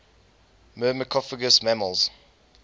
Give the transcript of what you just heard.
myrmecophagous mammals